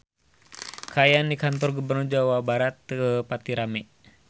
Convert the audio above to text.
Kaayaan di Kantor Gubernur Jawa Barat teu pati rame